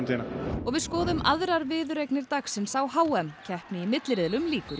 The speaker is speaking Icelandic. og við skoðum aðrar viðureignir dagsins á h m keppni í milliriðlum lýkur í